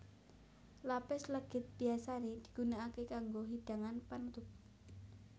Lapis legit biyasané digunakaké kanggo hidangan panutup